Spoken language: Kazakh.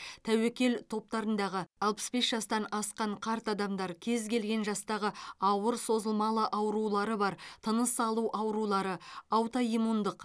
тәуекел топтарындағы алпыс бес жастан асқан қарт адамдар кез келген жастағы ауыр созылмалы аурулары бар тыныс алу аурулары аутоиммундық